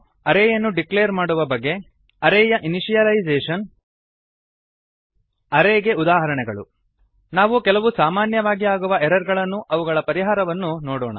ಅರೇ ಯನ್ನು ಡಿಕ್ಲೇರ್ ಮಾಡುವ ಬಗೆ ಅರೇ ಯ ಇನಿಶಿಯಲೈಸೇಶನ್ ಅರೇ ಗೆ ಉದಾಹರಣೆಗಳು ನಾವು ಕೆಲವು ಸಾಮಾನ್ಯವಾಗಿ ಆಗುವ ಎರರ್ ಗಳನ್ನೂ ಅವುಗಳ ಪರಿಹಾರವನ್ನೂ ನೋಡೋಣ